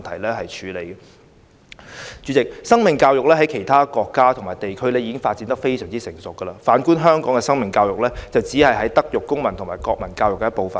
代理主席，在其他國家和地區，生命教育已發展得非常成熟，反觀香港，生命教育只是"德育、公民及國民教育"的一部分。